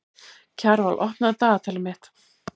Kjarval, opnaðu dagatalið mitt.